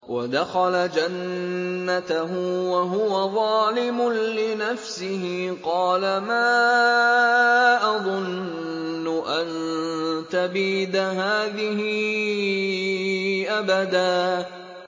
وَدَخَلَ جَنَّتَهُ وَهُوَ ظَالِمٌ لِّنَفْسِهِ قَالَ مَا أَظُنُّ أَن تَبِيدَ هَٰذِهِ أَبَدًا